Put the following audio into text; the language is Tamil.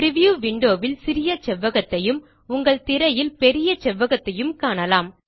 பிரிவ்யூ விண்டோ ல் சிறிய செவ்வகத்தையும் உங்கள் திரையில் பெரிய செவ்வகத்தையும் காணலாம்